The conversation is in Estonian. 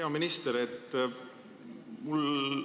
Hea minister!